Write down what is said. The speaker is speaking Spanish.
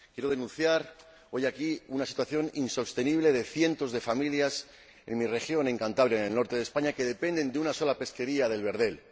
Quiero denunciar hoy aquí una situación insostenible de cientos de familias en mi región, Cantabria, en el norte de España, que dependen de una sola pesquería del verdel.